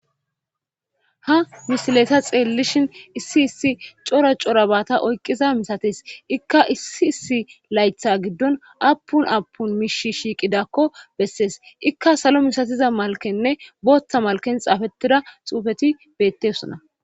Ha misilesa xeellishin issi issi cora cora baata oykqiza misates ikka issi issi laytha giddon apun apun miish shiiqidakko bessees ikka salo misatiza malkenne booththa malken xaafetida xuufeti bettessona.